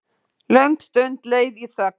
Löng stund leið í þögn.